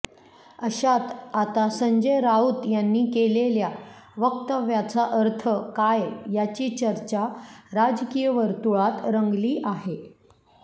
अशात आता संजय राऊत यांनी केलेल्या वक्तव्याचा अर्थ काय याची चर्चा राजकीय वर्तुळात रंगली आहे